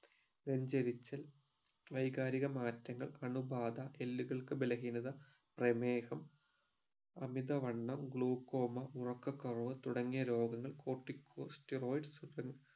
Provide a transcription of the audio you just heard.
നെഞ്ചേരിച്ചാൽ വൈകാരിക മാറ്റങ്ങൾ അണുബാധ എല്ലുകൾക്ക് ബലഹീനത പ്രേമേഹം അമിത വണ്ണം glaucoma ഉറക്ക കുറവ് തുടങ്ങിയ രോഗങ്ങൾ cortico stedoid സ്